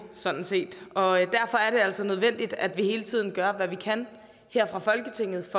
sådan set og derfor er det altså nødvendigt at vi hele tiden gør hvad vi kan fra folketingets